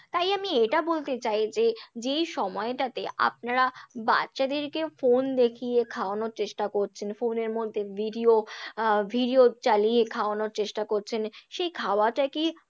তাই আমি এটা বলতে চাই যে, যেই সময়টাতে আপনারা বাচ্চাদেরকে ফোন দেখিয়ে খাওয়ানোর চেষ্টা করছেন, ফোনের মধ্যে ভিডিও আহ ভিডিও চালিয়ে খাওয়ানোর চেষ্টা করছেন, সেই খাওয়াটা কি